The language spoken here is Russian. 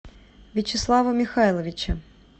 вячеслава михайловича